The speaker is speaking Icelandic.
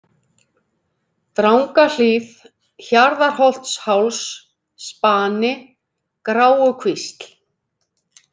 Drangahlíð, Hjarðarholtsháls, Spani, Gráukvísl